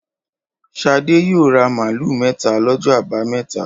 Ṣadé yóò ra màlúù mẹ́ta lọ́jọ́ àbámẹ́ta.